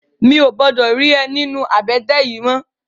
Mi ó gbòdò ri è ninú àbètè yèn mò